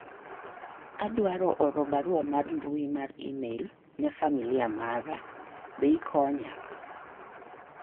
adwaro oro barua mar mbui mar email ne familia mara ,be ikonya